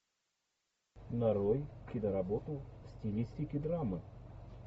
нарой киноработу в стилистике драмы